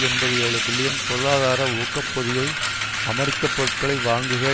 எண்பதி ஏழு பில்லின் பொருளார ஊக்க பொதியை அமெரிக்க பொருட்களை வாங்குக